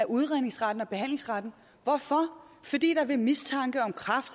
udredningsretten og behandlingsretten hvorfor fordi man ved mistanke om kræft